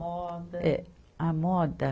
Moda. Eh, a moda